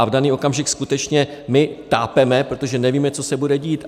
A v daný okamžik skutečně my tápeme, protože nevíme, co se bude dít.